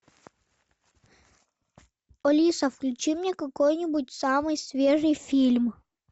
алиса включи мне какой нибудь самый свежий фильм